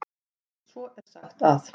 Svo er sagt að.